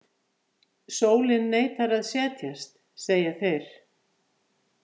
Sólin neitar að setjast, segja þeir.